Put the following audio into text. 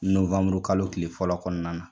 kalo kile fɔlɔ kɔnɔna na.